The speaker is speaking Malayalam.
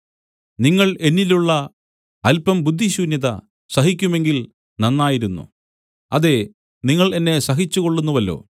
നിങ്ങൾ എന്നിലുള്ള അല്പം ബുദ്ധിശൂന്യത സഹിക്കുമെങ്കിൽ നന്നായിരുന്നു അതേ നിങ്ങൾ എന്നെ സഹിച്ചുകൊള്ളുന്നുവല്ലോ